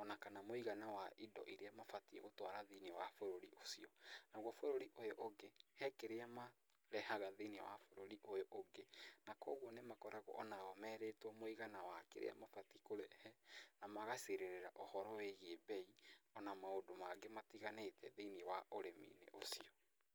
ona kana mũigana wa indo iria mabatiĩ gũtwara thĩiniĩ wa bũrũri ũcio. Naguo bũrũri ũyũ ũngĩ, he kĩrĩa marehaga thĩiniĩ wa bũrũri ũyũ ũngĩ na koguo nĩ makoragwo onao merĩtwo mũigana wa kĩrĩa mabatiĩ kũrehe, na magacirĩrĩra ũhoro wĩgiĩ mbei ona maũndũ mangĩ matiganĩte thĩiniĩ wa ũrĩmi-inĩ ũcio.